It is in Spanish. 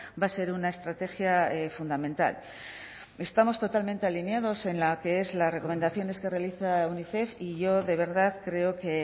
va a ser una estrategia fundamental estamos totalmente alineados en la que es las recomendaciones que realiza unicef y yo de verdad creo que